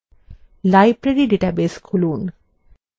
library database খুলুন